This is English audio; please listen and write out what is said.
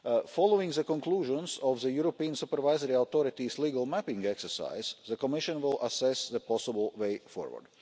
Following the conclusions of the European supervisory authorities' legal mapping exercise, the Commission will assess the possible way forward.